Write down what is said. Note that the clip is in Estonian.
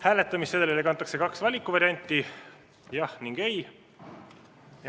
Hääletamissedelile kantakse kaks valikuvarianti: jah ning ei.